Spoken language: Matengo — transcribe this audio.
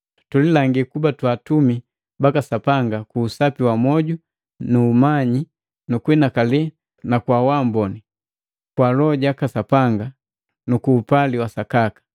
Tulilangi kuba twa atumi baka Sapanga ku usapi wa moju na umanyi na kuhinakali na kwa wamboni, kwa Loho jaka Sapanga, ku upali wa sakaka.